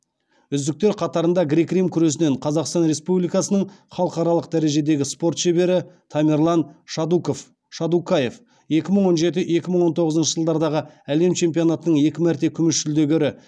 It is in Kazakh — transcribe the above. үздіктер қатарында грек рим күресінен қазақстан республикасының халықаралық дәрежедегі спорт шебері тамерлан шадукаев екі мың он жеті екі мың он тоғызыншы жылдардағы әлем чемпионатының екі мәрте күміс жүлдегері